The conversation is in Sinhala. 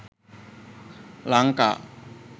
lanka